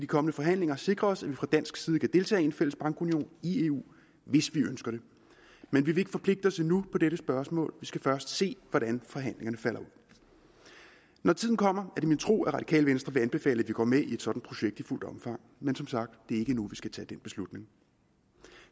kommende forhandlinger sikre os at vi fra dansk side kan deltage i en fælles bankunion i eu hvis vi ønsker det men vi vil ikke forpligte os endnu på dette spørgsmål vi skal først se hvordan forhandlingerne falder ud når tiden kommer er det min tro at det radikale venstre vil anbefale at vi går med i et sådan projekt i fuldt omfang men som sagt det er ikke nu vi skal tage den beslutning